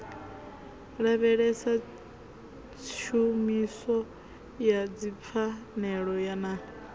lavhelesa tshumiso ya dzipfanelo na